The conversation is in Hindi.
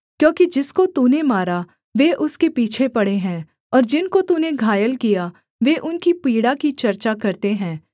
क्योंकि जिसको तूने मारा वे उसके पीछे पड़े हैं और जिनको तूने घायल किया वे उनकी पीड़ा की चर्चा करते हैं